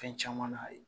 Fɛn caman na ye